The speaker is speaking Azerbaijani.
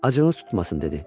Acığınız tutmasın dedi.